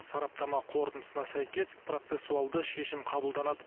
сараптама қорытындысына сәйкес процессуалды шешім қабылданады